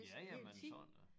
Ja ja men sådan da